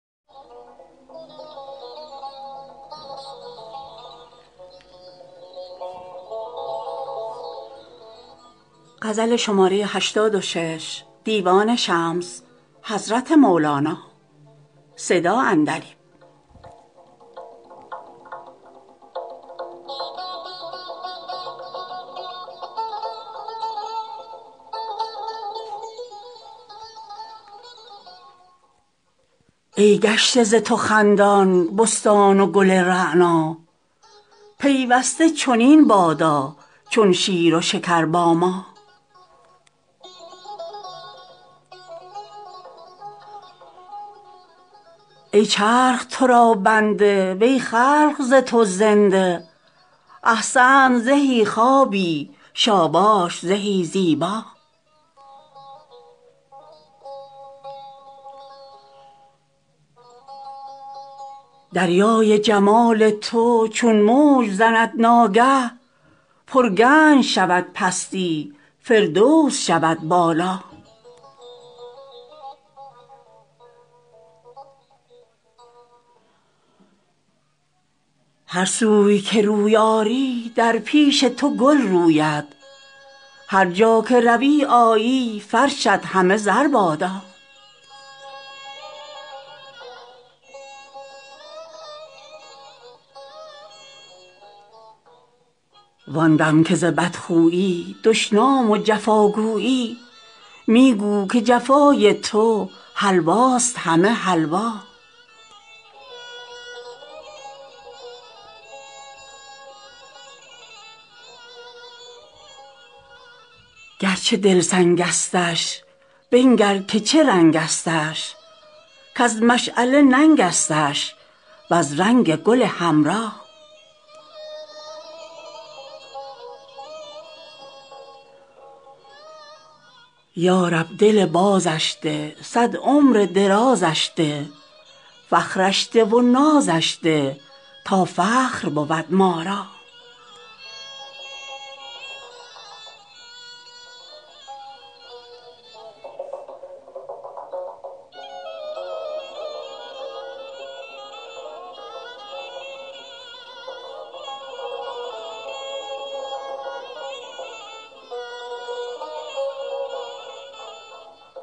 ای گشته ز تو خندان بستان و گل رعنا پیوسته چنین بادا چون شیر و شکر با ما ای چرخ تو را بنده وی خلق ز تو زنده احسنت زهی خوابی شاباش زهی زیبا دریای جمال تو چون موج زند ناگه پرگنج شود پستی فردوس شود بالا هر سوی که روی آری در پیش تو گل روید هر جا که روی آیی فرشت همه زر بادا وان دم که ز بدخویی دشنام و جفا گویی می گو که جفای تو حلواست همه حلوا گرچه دل سنگستش بنگر که چه رنگستش کز مشعله ننگستش وز رنگ گل حمرا یا رب دل بازش ده صد عمر درازش ده فخرش ده و نازش ده تا فخر بود ما را